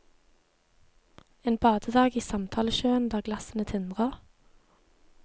En badedag i samtalesjøen der glassene tindrer.